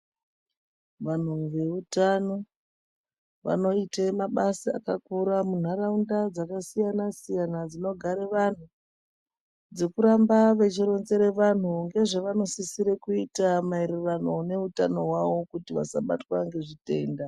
Vantu veutano, vanoite mabasa akakura muntaraunda dzakasiyana-siyana dzinogare vantu. Dzekuramba vechironzere vantu ngezvevanosisire kuita maererano neutano hwavo kuti vasabatwa ngezvitenda.